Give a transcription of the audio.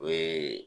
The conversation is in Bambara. O ye